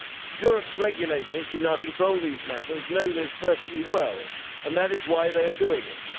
Europe's regulators, who now control these matters, know this perfectly well, and that is why they are doing it.